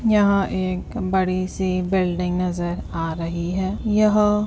यहां एक बड़ी सी बिल्डिंग नजर आ रही है। यह --